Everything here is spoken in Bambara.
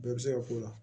Bɛɛ bɛ se ka k'o la